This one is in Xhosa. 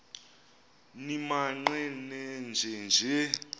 nimaqe nenje nje